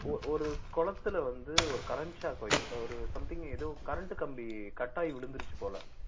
ஒரு ஒரு குளத்துல வந்து ஒரு current shock வெக்~ ஒரு something ஏதோ current கம்பி cut ஆகி விழுந்திருச்சு போல